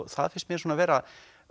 það finnst mér vera